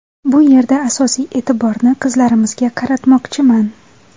Bu yerda asosiy e’tiborni qizlarimizga qaratmoqchiman.